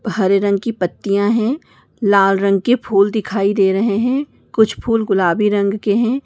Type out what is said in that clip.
हरे रंग की पत्तियां है लाल रंग के फूल दिखाई दे रहे हैं कुछ फूल गुलाबी रंग के हैं।